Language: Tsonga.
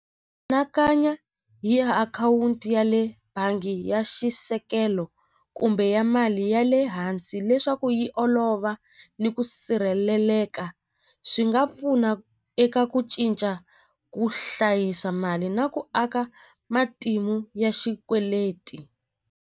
hi ya akhawunti ya le bangi ya xisekelo kumbe ya mali ya le hansi leswaku yi olova ni ku sirheleleka swi nga pfuna eka ku cinca ku hlayisa mali na ku aka matimu ya xikweleti.